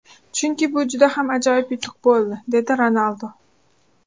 Chunki bu juda ham ajoyib yutuq bo‘ldi” dedi Ronaldu.